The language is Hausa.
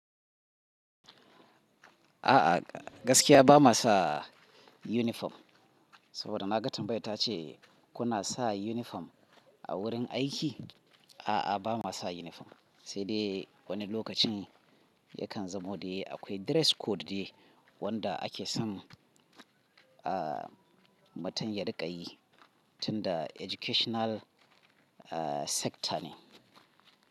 A'a, gaskiya ba ma sa uniform. Saboda na gan tambayar ta ce kuna sa uniform a wurin aiki? A'a, ba ma sa uniform. Sai dai wani lokacin yakan zamo dai akwai dress code ne wanda ake son, ah, mutum ya riƙa yi tunda educational, ah, sector ne.